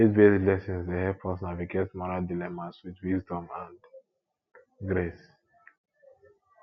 faithbased lessons dey help us navigate moral dilemmas with wisdom and grace